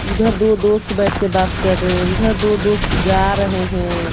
उधर दो दोस्त बैठ के बात कर रहे हैं उधर दो दोस्त जा रहे है।